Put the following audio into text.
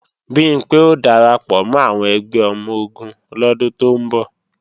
Bimpé ó darapọ̀ mọ́ àwọn ẹgbẹ́ ọmọ-ogun lọ́dún tó ń bọ̀